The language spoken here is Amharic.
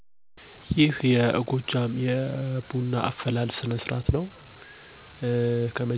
ቡናው ከገበያ ተገዝቶ ይመጣል፣